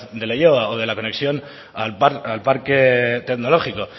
de leioa o de la conexión al parque tecnológico